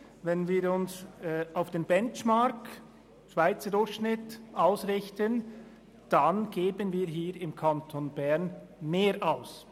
Wenn wir den Benchmark anschauen, sehen wir, dass wir im Kanton Bern mehr Geld ausgeben.